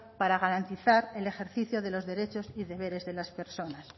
para garantizar el ejercicio de los derechos y deberes de las personas